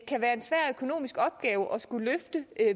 kan være en svær økonomisk opgave at skulle løfte